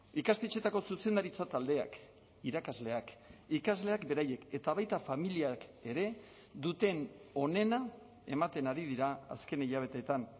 ikastetxetako zuzendaritza taldeak irakasleak ikasleak beraiek eta baita familiak ere duten onena ematen ari dira azken hilabeteetan